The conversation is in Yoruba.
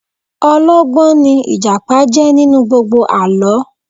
Ọlọ́gbọ́n ní Ìjàpá jẹ́ nínú gbogbo àlọ́